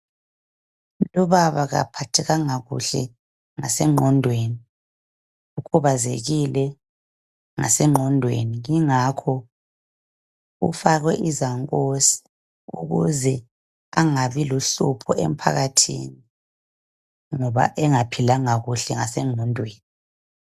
Lubaba kaphathekanga kuhle ngasengqondweni, ukhubazekile engqondweni ingakho ufakwe izankosi ukuze engabi luhlupho emphakathini ngoba engaphilanga kuhle ngasengqondweni.